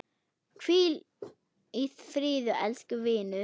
Hvíl í friði elsku vinur!